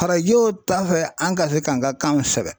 Farajɛw ta fɛ an ka se k'an ka kanw sɛbɛn.